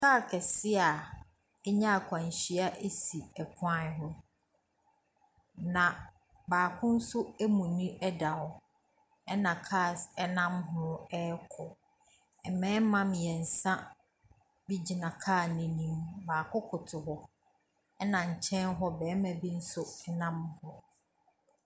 Car kɛsɛe a anya akwanhyia si kwan ho. Na baako nso amuni da hɔ. Ɛna cars nam ho rekɔ. Marima mmiɛnsa bi gyina car no n'anim. Baako koto hɔ. Ɛna nkyɛn ho nso barima bi nso nam hɔ.